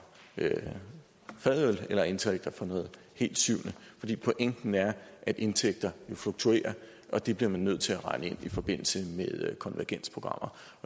fadøl eller indtægter fra noget helt syvende for pointen er at indtægter fluktuerer og det bliver man nødt til at regne ind i forbindelse med konvergensprogrammer